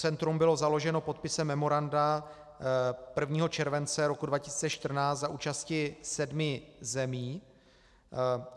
Centrum bylo založeno podpisem memoranda 1. července roku 2014 za účasti sedmi zemí.